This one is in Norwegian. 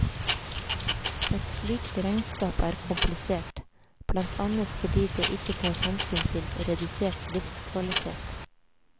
Et slikt regnskap er komplisert, blant annet fordi det ikke tar hensyn til redusert livskvalitet.